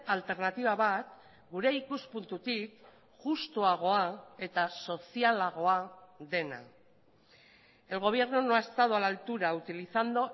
alternatiba bat gure ikuspuntutik justuagoa eta sozialagoa dena el gobierno no ha estado a la altura utilizando